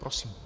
Prosím.